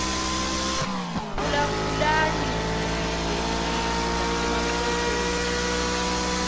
phulaphulani zizwendini zasemaxhoseni